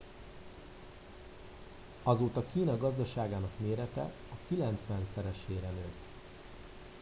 azóta kína gazdaságának mérete a kilencvenszeresére nőtt